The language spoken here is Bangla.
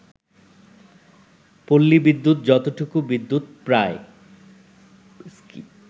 পল্লী বিদ্যুৎ যতটুকু বিদ্যুৎ পায়